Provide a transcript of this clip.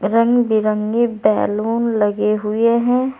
रंग बिरंगे बैलून लगे हुए हैं।